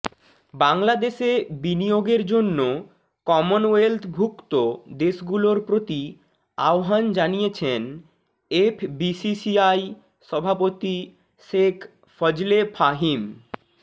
বাংলাদেশে বিনিয়োগের জন্য কমনওয়েলথভুক্ত দেশগুলোর প্রতি আহ্বান জানিয়েছেন এফবিসিসিআই সভাপতি শেখ ফজলে ফাহিম